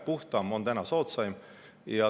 Puhtam on täna soodsaim.